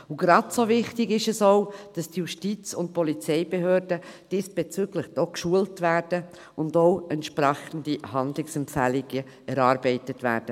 Genauso wichtig ist, dass die Justiz- und Polizeibehörden diesbezüglich auch geschult werden und entsprechende Handlungsempfehlungen für sie erarbeitet werden.